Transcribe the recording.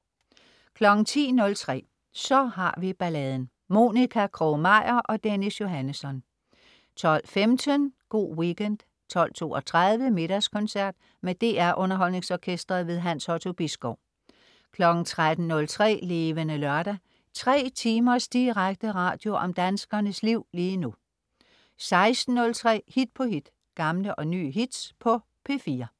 10.03 Så har vi balladen. Monica Krog-Meyer og Dennis Johannesson 12.15 Go' Weekend 12.32 Middagskoncert. Med DR Underholdningsorkestret. Hans Otto Bisgaard 13.03 Levende Lørdag. 3 timers direkte radio om danskernes liv lige nu 16.03 Hit på hit. Gamle og nye hits på P4